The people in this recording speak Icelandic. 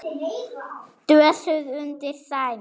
Dösuð undir sæng.